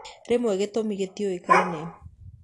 Rĩmwe gĩtumĩ gĩtiũĩkaine.